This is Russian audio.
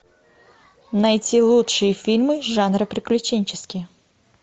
найти лучшие фильмы жанра приключенческий